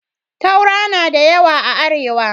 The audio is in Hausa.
Taura na da yawa a Arewa.